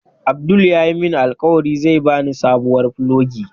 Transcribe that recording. Abdul yayi min alkawari zai bani sabuwar fulogi.